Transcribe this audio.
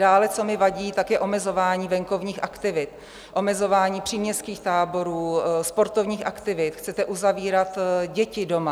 Dále, co mi vadí, tak je omezování venkovních aktivit, omezování příměstských táborů, sportovních aktivit, chcete uzavírat děti doma.